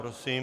Prosím.